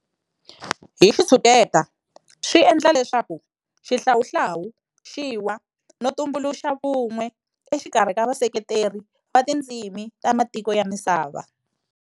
"Hi xitshuketa swi endla leswaku xihlawuhlawu xi wa no tumbuluxa vun'we exikarhi ka vaseketeri va tindzimi ta matiko ya misava".